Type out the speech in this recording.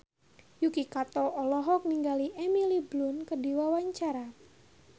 Yuki Kato olohok ningali Emily Blunt keur diwawancara